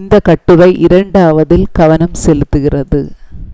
இந்த கட்டுரை இரண்டாவதில் கவனம் செலுத்துகிறது